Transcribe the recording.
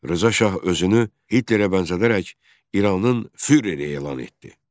Rza Şah özünü Hitlerə bənzədərək İranın füereri elan etdi.